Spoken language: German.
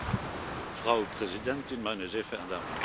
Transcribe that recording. Frau Präsidentin, meine sehr verehrten Damen und Herren!